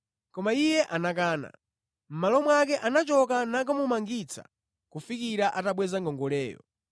“Koma iye anakana. Mʼmalo mwake, anachoka nakamumangitsa kufikira atabweza ngongoleyo.